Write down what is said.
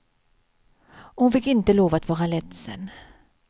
Och hon fick inte lov att vara ledsen.